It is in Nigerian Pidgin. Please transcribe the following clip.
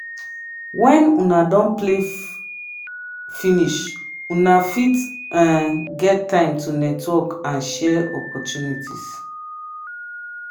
when unna don play fifinish una fit get time to network and share opportunities